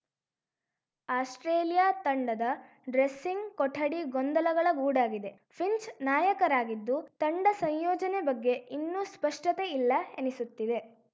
Australia ತಂಡದ dressing ಕೊಠಡಿ ಗೊಂದಲಗಳ ಗೂಡಾಗಿದೆ ಫಿಂಚ್‌ ನಾಯಕರಾಗಿದ್ದು ತಂಡ ಸಂಯೋಜನೆ ಬಗ್ಗೆ ಇನ್ನೂ ಸ್ಪಷ್ಟತೆ ಇಲ್ಲ ಎನಿಸುತ್ತಿದೆ